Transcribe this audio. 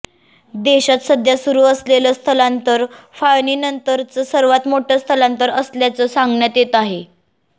देशात सध्या सुरु असलेलं स्थलांतर फाळणीनंतरचं सर्वात मोठं स्थलांतर असल्याचं सांगण्यात येत आहे